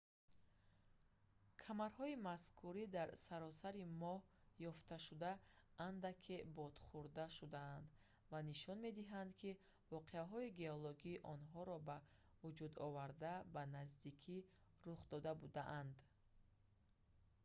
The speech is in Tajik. камарҳои мазкури дар саросари моҳ ёфтшуда андаке бодхӯрда шудаанд ва нишон медиҳанд ки воқеаҳои геологии онҳоро ба вуҷуд оварда ба наздикӣ рух дода будаанд